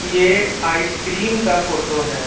ये ice cream का photo है।